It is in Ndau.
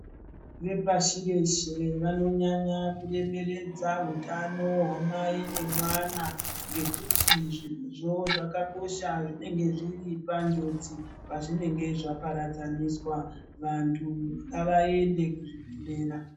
Vepashi reshe vanonyanya kunyerenyedza utano hwamai nemwana ngekuti zvirozvo zvakakosha zvinenge zviri panjodzi pazvinenge zvaparadzaniswa. Vantu ngavaende kuzvibhedhlera.